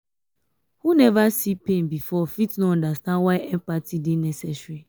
who neva see pain before fit no understand why empathy dey necessary.